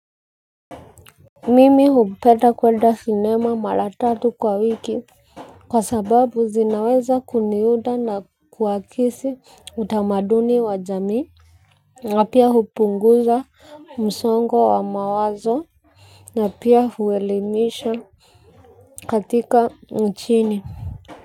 Mimi hupeta kwenda sinema mara tatu kwa wiki. Kwa sababu zinaweza kuniuda na kuakisi utamaduni wa jamii. Napia hupunguza msongo wa mawazo. Napia huelimisha katika mchini.